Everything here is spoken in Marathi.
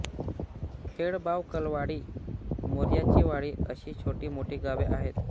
खेड बावकलवाडी मर्याचीवाडी आशी छोटी मोठी गावे आहेत